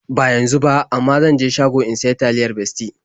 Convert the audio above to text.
Ba yanzu ba, amma zan je shago in sayi taliyar Bestie.